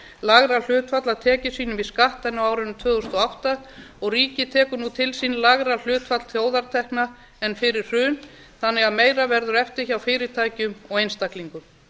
lægra hlutfall af tekjum sínum í skatt en á árinu tvö þúsund og átta og ríkið tekur nú til sín lægra hlutfall þjóðartekna fyrir hrun þannig að meira verður eftir hjá fyrirtækjum og einstaklingum